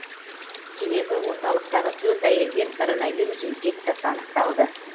себебі орталықтағы төрт әйелден коронавирус инфекциясы анықталды